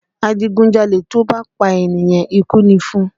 Adigunjalè tó bá pa ènìyàn, ikú ni fún un